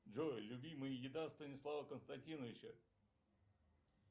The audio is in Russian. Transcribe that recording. джой любимая еда станислава константиновича